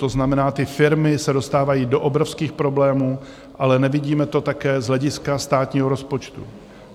To znamená, ty firmy se dostávají do obrovských problémů, ale nevidíme to také z hlediska státního rozpočtu.